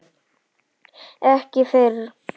Ekki fyrr.